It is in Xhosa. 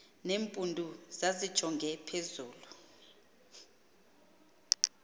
nempundu zazijonge phezulu